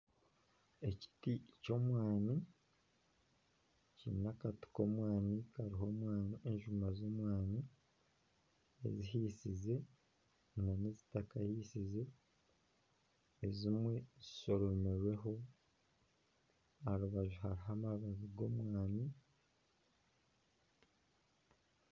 Ekiti ky'omwani, kiine akati k'omwani hariho enjuma ezihiisize ezimwe zitakahiisize ezimwe zishoromirweho aha rubaju hariho amababi g'omwani